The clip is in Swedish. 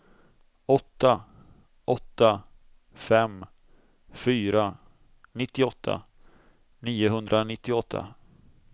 åtta åtta fem fyra nittioåtta niohundranittioåtta